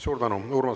Suur tänu!